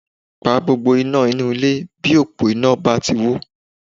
Pa gbogbo iná inú ilé bí òpó iná bá ti wó